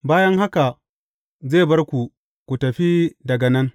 Bayan haka, zai bar ku, ku fita daga nan.